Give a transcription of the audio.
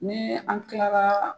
Ni an kilaraa